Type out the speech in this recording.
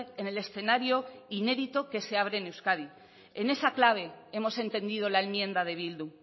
en el escenario inédito que se abre en euskadi en esa clave hemos entendido la enmienda de bildu